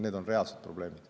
Need on reaalsed probleemid.